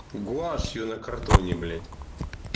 гуашью на картоне блять